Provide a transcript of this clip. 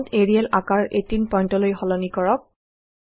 font Arial আকাৰ 16018 পইন্টলৈ সলনি কৰক